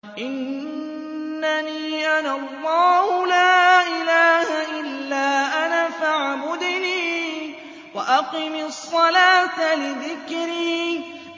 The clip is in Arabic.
إِنَّنِي أَنَا اللَّهُ لَا إِلَٰهَ إِلَّا أَنَا فَاعْبُدْنِي وَأَقِمِ الصَّلَاةَ لِذِكْرِي